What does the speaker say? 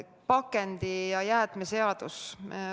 Pakendi- ja jäätmeseadus.